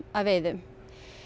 að veiðum